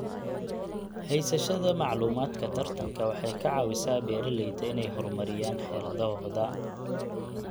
Haysashada macluumaadka tartanka waxay ka caawisaa beeralayda inay horumariyaan xeeladahooda.